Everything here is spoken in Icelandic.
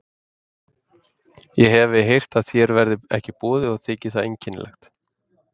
Ég hefi heyrt að þér verði ekki boðið og þykir það einkennilegt.